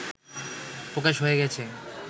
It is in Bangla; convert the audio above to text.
প্রকাশ হয়ে গেছে